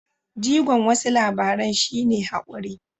Jigon wasu labaran shi ne haƙuri.